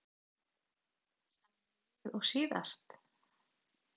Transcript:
Sama lið og síðast?